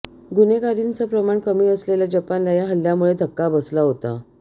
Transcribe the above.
गुन्हेगारीचं प्रमाण कमी असलेल्या जपानला हा हल्ल्यामुळे धक्का बसला होता